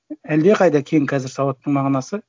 әлдеқайда кең қазір сауаттың мағынасы